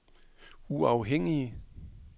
uafhængige